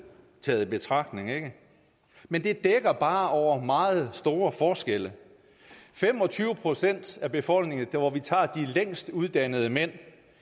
taget i betragtning ikke men det dækker bare over meget store forskelle fem og tyve procent af befolkningen hvor vi tager de længstuddannede mænd